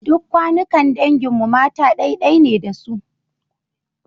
Duk kawunnan dangin mu mata ɗai-ɗai ne da su.